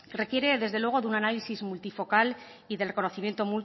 requiere desde luego de un análisis multifocal y del reconocimiento